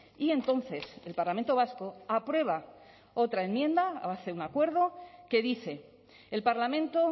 y entonces el parlamento vasco aprueba otra enmienda hace un acuerdo que dice el parlamento